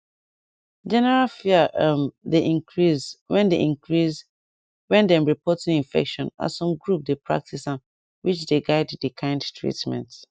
general fear um dey increase when dey increase when dem report new infection as some group dey practice am which dey guide the kind treatment